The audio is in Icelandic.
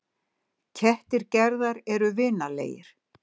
Kettir Gerðar eru vinalegir.